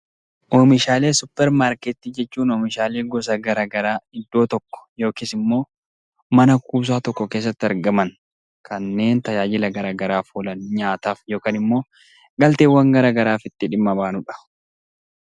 Oomishaalee supper markettii jechuun oomishaalee gosa garagaraa iddoo tokko yookiin mana kuusaa tokko keessatti argaman kanneen tajaajila garagaraaf oolan nyaataf yookiin galteewwan garagaraaf dhimma itti baanudha.